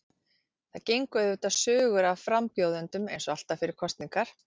Það gengu auðvitað sögur af frambjóðendum eins og alltaf fyrir kosningar.